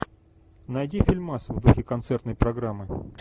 найди фильмас в духе концертной программы